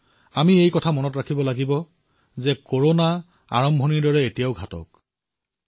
আমি লক্ষ্য ৰাখিব লাগিব যে কৰোনা এতিয়াও সিমানেই প্ৰাণঘাতক যি আৰম্ভণিতে আছে